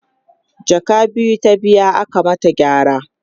jaka biyu ta biya aka mata gyara